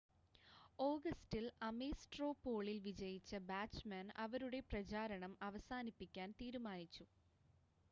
ഓഗസ്റ്റിൽ Ames straw പോളിൽ വിജയിച്ച ബാച്ച്‌മാൻ അവരുടെ പ്രചാരണം അവസാനിപ്പിക്കാൻ തീരുമാനിച്ചു